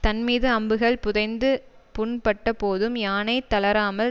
தன்மீது அம்புகள் புதைந்து புண்பட்டபோதும் யானை தளராமல்